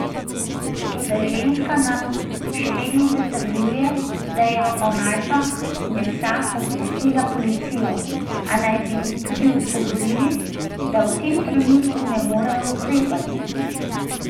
Toda ženska nam še vedno zatrjuje, da je o najdbah mesa obvestila policijo, a naj bi ji tudi odgovorili, da v tem trenutku ne morejo ukrepati.